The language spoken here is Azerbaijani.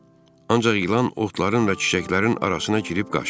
Ancaq ilan otların və çiçəklərin arasına girib qaçdı.